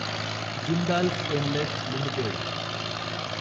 Jindal stainless limited